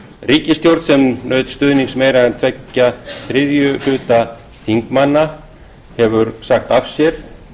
ríkisstjórn sem naut stuðnings meira en tveggja þriðju hluta þingmanna hefur sagt af sér